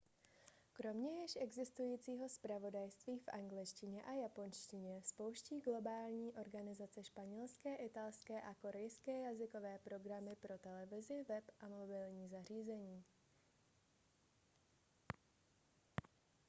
kromě již existujícího zpravodajství v angličtině a japonštině spouští globální organizace španělské italské a korejské jazykové programy pro televizi web a mobilní zařízení